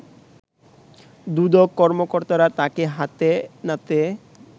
দুদক কর্মকর্তারা তাকে হাতে নাতে